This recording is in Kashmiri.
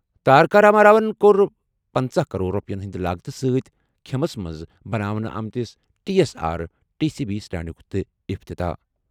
تارکا راما راون کوٚر پنژٕ کرور رۄپیَن ہٕنٛدِ لاگتہٕ سۭتۍ کھممَس منٛز بناونہٕ آمتِس T S R T C bus سٹینڈُک تہِ افتتاح ۔